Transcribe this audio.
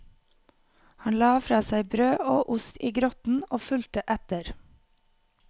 Han la fra seg brød og ost i grotten og fulgte etter.